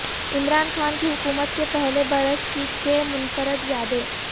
عمران خان کی حکومت کے پہلے برس کی چھ منفرد یادیں